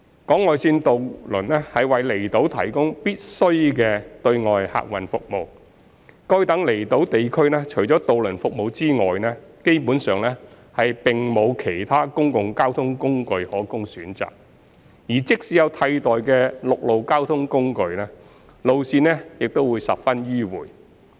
港外線渡輪為離島提供必需的對外客運服務。該等離島地區除了渡輪服務外，基本上並無其他公共交通工具可供選擇，而即使有替代的陸路交通工具，路線也十分迂迴。